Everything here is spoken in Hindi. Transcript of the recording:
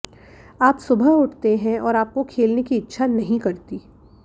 आप सुबह उठते हैं और आपको खेलने की इच्छा नहीं करती